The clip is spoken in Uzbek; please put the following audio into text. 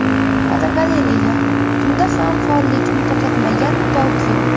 Fotogalereya: Tunda ham faollikni to‘xtatmagan Tokio.